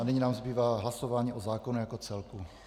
A nyní nám zbývá hlasování o zákonu jako celku.